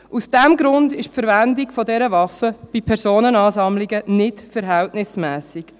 Aus diesem Grund ist die Verwendung dieser Waffe bei Personenansammlungen nicht verhältnismässig.